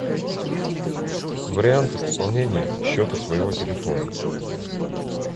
варианты пополнения счета своего телефона